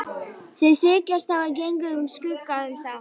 Þeir þykjast hafa gengið úr skugga um það.